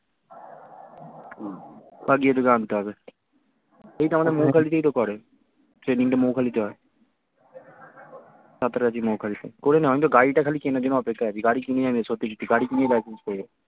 আবার গিয়ে তোকে আনতে হবে এই তো আমাদের মৌখালি তেই তো করে training টা মৌখালিতেই হয় সাঁতরাগাছি মৌখালি তে করে নে আমি তো গাড়িটা খালি কেনার জন্য অপেক্ষায় আছি গাড়ি কিনেই গাড়ি কিনেই বাইক use করবো